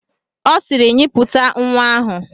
Ọ sịịrị, nyipụta nwa ahụ!